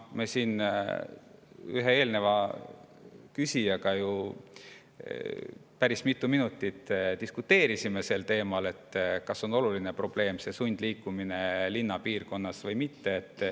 Me siin ühe eelmise küsijaga ju päris mitu minutit diskuteerisime teemal, kas sundliikumine linnapiirkonnas on oluline probleem või mitte.